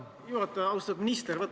Millised olid poolt- ja vastuargumendid?